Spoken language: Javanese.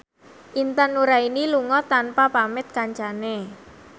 Intan Nuraini lunga tanpa pamit kancane